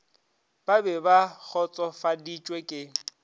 ba be ba kgotsofaditšwe ke